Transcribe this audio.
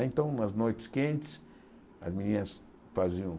Então, nas noites quentes, as meninas faziam...